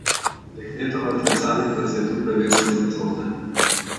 Dekletova tresavica se je tu prevesila v solze.